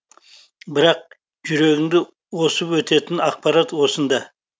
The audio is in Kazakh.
бірақ жүрегіңді осып өтетін ақпарат осында